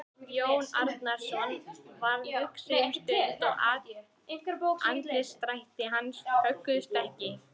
Jón Arason varð hugsi um stund og andlitsdrættir hans högguðust ekki.